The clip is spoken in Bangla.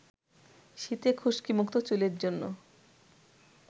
শীতে খুশকিমুক্ত চুলের জন্য